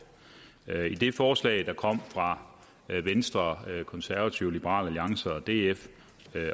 i det forslag der kom fra venstre konservative liberal alliance og df